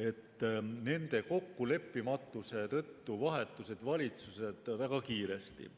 et nende kokkuleppimatuse tõttu vahetusid valitsused väga kiiresti.